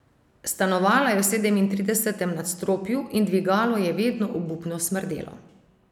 Stanovala je v sedemintridesetem nadstropju in dvigalo je vedno obupno smrdelo.